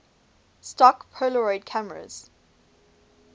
stock polaroid cameras